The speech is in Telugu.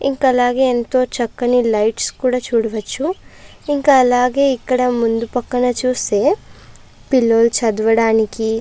ఇంక అలాగే ఎంతో చక్కని లైట్స్ కూడా చూడవచ్చు ఇంకా అలాగే ముందు పక్కల చూస్తే పిల్లలు చదవడానికి --